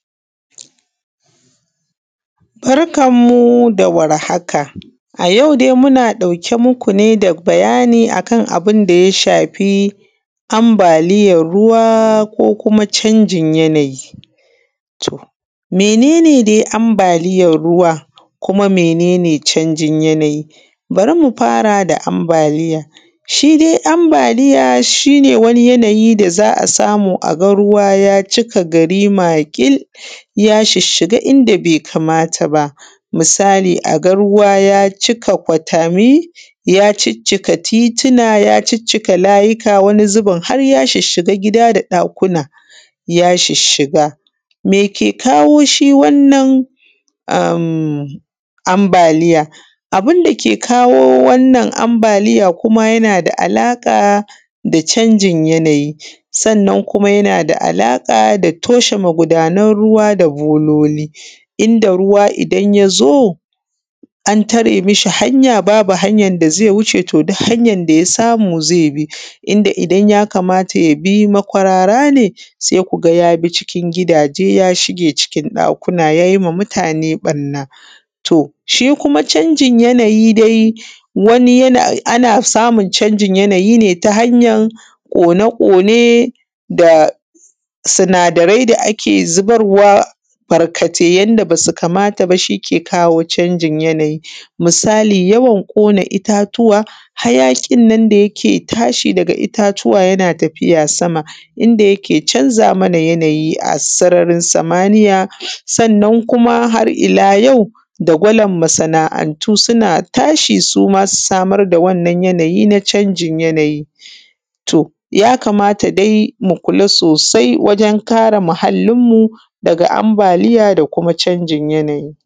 Barkan mu da warhaka. A yau dai muna ɗauke muku da bayani akan abunda ya shafi ambaliyan ruwa ko kuma canji yanayi. Mene ne dai ambaliyan ruwa? Kuma mene ne canjin yanayi? Bari mu fara da ambaliya shidai ambaliya shine wani yanayi da za’a samu aga ruwa ya cika gari makil ya shishshiga inda bai kamata ba. Misali aga ruwa ya cika kwatami ya ciccika titian ya ciccika layika wani haeya shishshiga gida da ɗakuna ya shishshiga. Meke kawo shi wannan ambaliya? Abunda ke kawo ambaliya kuma yanada alaƙa da canjin yanayi kuma yanada nada alaƙa da toshe magunan ruwa da bololi inda ruwan idan yazo an tare mishi hanya babu wurin dazai wuce to duk hanyan da yasamu zai bi. Inda idan yakamata yabi makwarara ne sai kuga yabi cikin gidaje yashiga cikin ɗakuna yayi ma mutane ɓanna. To sbhi kuma canjin yanayi dai wani ana samun canjin yanayi ne ta hanyan kone ƙone da sinadarai da ake zubarwa barkatai wanda basu kamata bas hike kawo canjin yanayi. Misali yawan ƙona ittatuwa hayaƙin nan da yake tashi daga ittatuwa yana tafiya sama inda yake canza mana yanayi a sararin samaniyya sannan kuma har illa yau, dagolan masa’antu suna tashi suma su samar da wannan yanayi na canjin yanayi to yakamata dai mu kula sosai wajen kare muhallin mu daga amabaliya da kuma canjin yanayi.